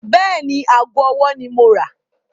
Bẹ́ẹ̀ni, ago ọwọ́ ni mo máa rà.